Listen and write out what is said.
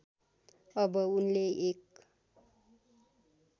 अब उनले एक